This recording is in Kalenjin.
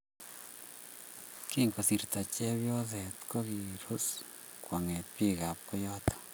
Kingosirto chepnyoset kogirus kwonget bikaap koyoto